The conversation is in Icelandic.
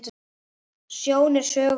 Sjón er sögu ríkari!